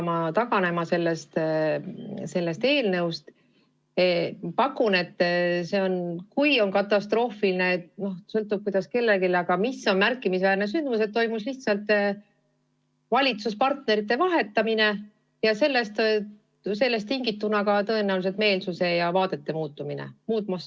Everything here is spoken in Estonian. Ma pakun välja, et asi on selles – ma ei tea, kui katastroofiline see on, sõltub, kuidas kellelegi – märkimisväärses sündmuses, et toimus lihtsalt valitsuspartnerite vahetumine ja sellest tingituna tõenäoliselt ka meelsuse ja vaadete muutumine.